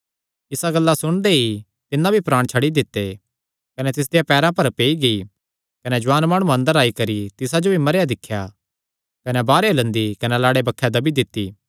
इसा गल्ला सुणदे ई तिन्नै भी प्राण छड्डी दित्ते कने तिसदेयां पैरां पर पेई गेई कने जुआन माणुआं अंदर आई करी तिसा जो भी मरेया दिख्या कने बाहरेयो लंदी कने लाड़े बक्खे दब्बी दित्ती